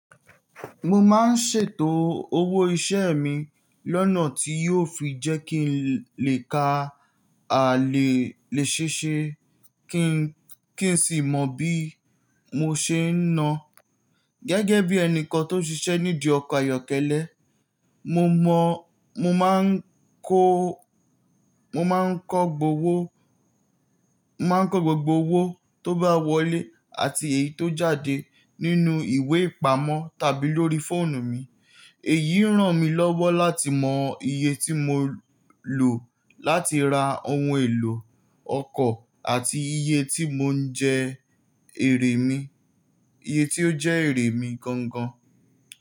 Mo máa ń ṣètò owó iṣẹ́ mi lọ́nà tí yóò fi jẹ́ kí n lè ka àlè léṣe ṣe kí n sì mọ bí mo ṣe ń na gẹ́gẹ́ bí ẹnìkan tó ń ṣiṣẹ́ nídi ọkọ̀ ayọ́kẹ́lẹ́. Mo mọ, mo máa ń kó, mo máa ń kọ gbogbo owó, mo máa ń kọ gbogbo owó tó bá wọlé àti èyí tó jáde nínú ìwé ìpamọ́ tàbí lórí fóònù mi. Èyí ràn mí lọ́wọ́ láti mọ iye tí mo lò láti ra ohun èlò ọkọ̀ àti iye tí mò ń jẹ èrè mi, iye tí ó jẹ́ èrè mi gan gan.